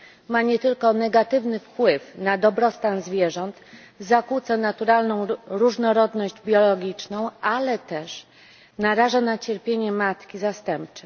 Ma nie tylko negatywny wpływ na dobrostan zwierząt, zakłóca naturalną różnorodność biologiczną, ale też naraża na cierpienie matki zastępcze.